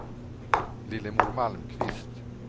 Lillemor Malmqvist